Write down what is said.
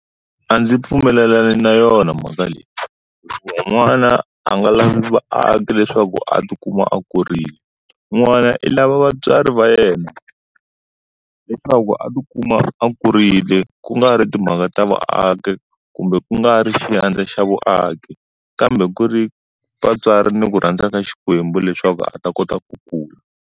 A ndzi pfumelelani na yona movha leyi. N'wana a nga lavi vaaki leswaku a ti kuma a kurile. N'wana i lava vatswari va yena. Leswaku loko a ti kuma a kurile, ku nga ri timhaka ta vaaki kumbe ku nga ri xiandla xa vaaki, kambe ku ri vatswari ni ku rhandza ka xikwembu leswaku a ta kota ku kula.